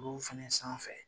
Olu fɛnɛ sanfɛ.